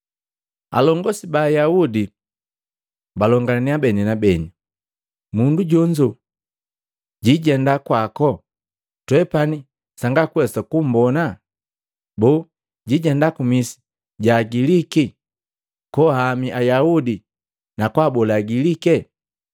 Alongosi ba Ayaudi balongalaniya beni na beni, “Mundu jonzo jijenda kwako twepani sangakuwesa kumbona? Boo jijenda ku misi ja Agiliki koahami Ayaudi na kwaabola Agiliki?